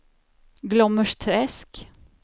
Glommersträsk